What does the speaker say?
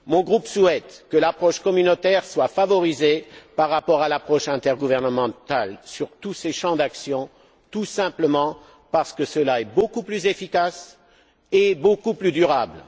Mon groupe souhaite que l'approche communautaire soit favorisée par rapport à l'approche intergouvernementale sur tous ces champs d'action, tout simplement parce que cela est beaucoup plus efficace et beaucoup plus durable.